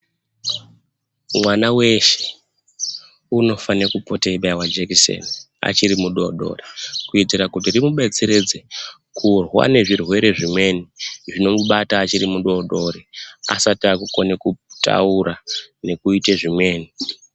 Mwana weshe unofane kupote eibaiwa jekiseni achiri mudoodori, kuitira kuti rimudetseredze kurwa nezvirwere zvimweni zvinomubata achiri mudoodori asati akukona kutaura nekuite zvimweni.